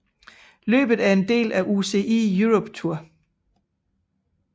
Løbet er en del af UCI Europe Tour